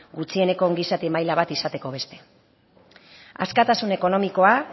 gutxieneko ongizate maila bat izateko beste askatasun ekonomikoa